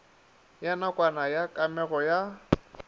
ya nakwana ya kamego ya